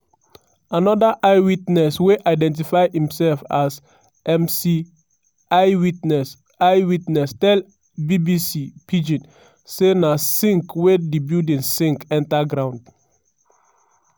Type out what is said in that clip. anoda eye witness wey identify imsef as mc iwitness iwitness tell bbc pidgin say na sink wey di building sink enta ground.